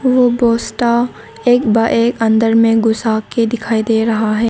वो एक बार एक अंदर में घुसा के दिखाई दे रहा है।